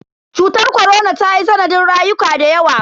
Cutar korona tayi sanadin rayuka dayawa.